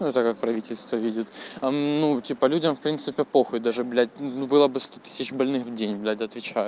ну так как правительство видит ну типа людям в принципе похуй даже блять ну было бы сто тысяч больных в день блять отвечаю